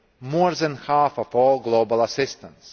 more than half of all global assistance.